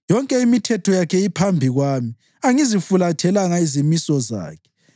Yonke imithetho yakhe iphambi kwami; angizifulathelanga izimiso zakhe.